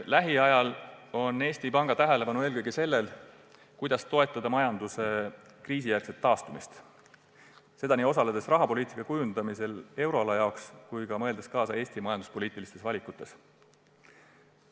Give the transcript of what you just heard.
Lähiajal on Eesti Panga tähelepanu eelkõige sellel, kuidas toetada majanduse kriisijärgset taastumist – nii osaledes rahapoliitika kujundamisel euroala jaoks kui ka mõeldes kaasa Eesti majanduspoliitiliste valikute tegemisel.